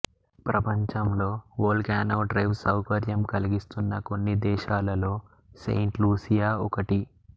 ప్రపంచంలో volcano drive సౌకర్యం కలిగిస్తున్న కొన్న దేశాలలో సెయింట్ లూసియా ఒకటి